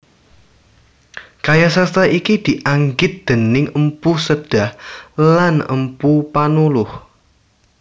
Karya sastra iki dianggit déning Mpu Sedah lan Mpu Panuluh